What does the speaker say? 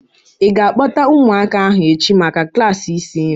I ga-akpota ụmụaka ahu echi maka klaasị isi nri?